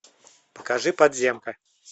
покажи подземка